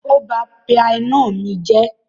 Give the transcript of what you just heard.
Ó ba pianó mi jẹ́.